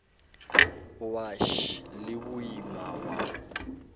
wa š le boima wa